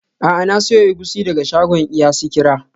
A'a, na siyo egusi daga shagon iya sikira.